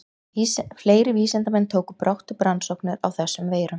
Fleiri vísindamenn tóku brátt upp rannsóknir á þessum veirum.